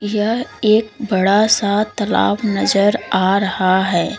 यह एक बड़ा सा तालाब नजर आ रहा है।